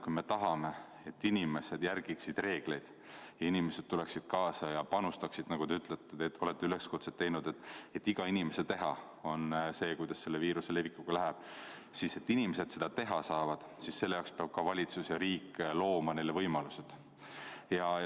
Kui me tahame, et inimesed järgiksid reegleid, et inimesed tuleksid kaasa ja panustaksid – te olete ju teinud üleskutse, et igast inimesest oleneb, kuidas selle viiruse levikuga läheb –, siis selleks, et inimesed seda teha saaksid, peavad valitsus ja riik neile võimalused looma.